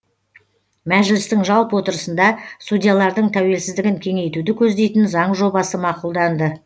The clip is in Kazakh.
мәжілістің жалпы отырысында судьялардың тәуелсіздігін кеңейтуді көздейтін заң жобасы мақұлданды